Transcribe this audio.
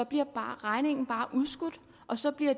bliver regningen bare udskudt og så bliver